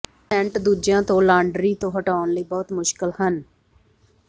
ਕੁਝ ਸੈਂਟ ਦੂਜਿਆਂ ਤੋਂ ਲਾਂਡਰੀ ਤੋਂ ਹਟਾਉਣ ਲਈ ਬਹੁਤ ਮੁਸ਼ਕਲ ਹਨ